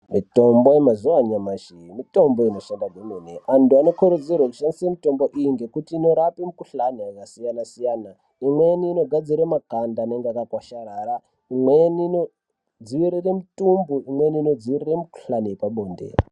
Mitombo yemazuva anyamashi mitombo inoshanda kwemene. Antu anokurudzirwe kushandisa mitombo iyi ngekuti inorape mukuhlani yakasiyana-siyana. Imweni inogadzira makanda anenge akakwasharara, imweni inodzivirire mutumbu, imweni inodzivirira mikuhlani yepabonde.